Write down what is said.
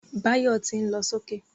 Báyọ̀ tí ń lọ sókè